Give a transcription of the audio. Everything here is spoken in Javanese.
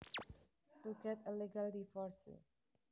To get a legal divorce